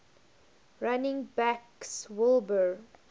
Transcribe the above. running backs wilbur